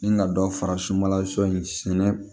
Ni ka dɔ fara sunbala sɔni sɛnɛ